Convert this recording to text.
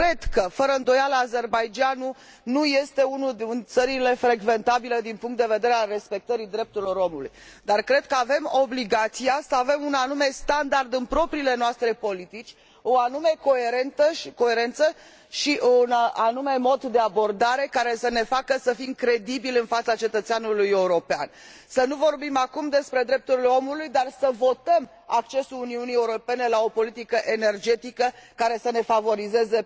Cred că, fără îndoială, Azerbaidjanul nu este una din țările frecventabile din punctul de vedere al respectării drepturilor omului, dar cred că avem obligația să avem un anume standard în propriile noastre politici, o anume coerență și un anume mod de abordare care să ne facă să fim credibili în fața cetățeanului european. Să nu vorbim acum despre drepturile omului, dar să votăm accesul Uniunii Europene la o politică energetică care să favorizeze